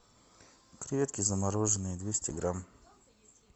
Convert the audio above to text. креветки замороженные двести грамм